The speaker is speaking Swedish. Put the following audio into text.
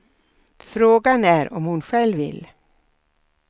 Frågan är om hon själv vill.